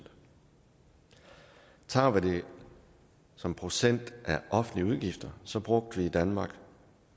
tager vi det som procent af offentlige udgifter så brugte vi i danmark